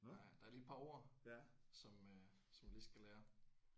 Nej der er lige et par ord som øh som jeg lige skal lære